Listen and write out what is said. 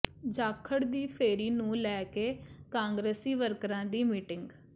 ਜਾਖੜ ਦੀ ਫੇਰੀ ਨੂੰ ਲੈ ਕੇ ਕਾਂਗਰਸੀ ਵਰਕਰਾਂ ਦੀ ਮੀਟਿੰਗ